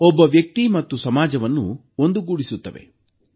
ಒಬ್ಬ ವ್ಯಕ್ತಿ ಮತ್ತು ಸಮಾಜವನ್ನು ಸೇರಿಸುತ್ತದೆ